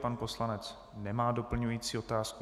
Pan poslanec nemá doplňující otázku.